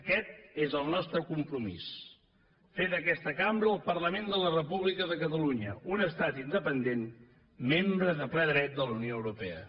aquest és el nostre compromís fer d’aquesta cambra el parlament de la república de catalunya un estat independent membre de ple dret de la unió europea